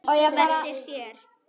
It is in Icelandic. Veltir sér.